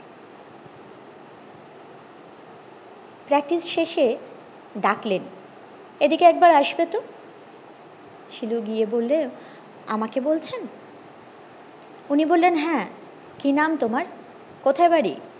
practice শেষে ডাকলেন এইদিকে একবার আসবে তো শিলু গিয়ে বললো আমাকে বলছেন উনি বললেন হ্যাঁ কি নাম তোমার কোথায় বাড়ি